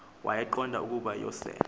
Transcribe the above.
wayeqonda ukuba uyosele